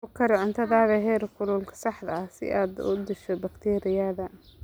Ku kari cuntada heerkulka saxda ah si aad u disho bakteeriyada.